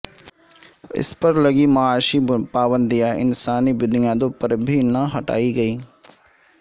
اس پر لگی معاشی پابندیاں انسانی بنیادوں پر بھی نہ ہٹائی گیئں